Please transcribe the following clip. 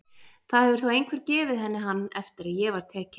Það hefur þá einhver gefið henni hann eftir að ég var tekin.